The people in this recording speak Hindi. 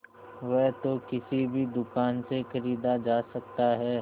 वह तो किसी भी दुकान से खरीदा जा सकता है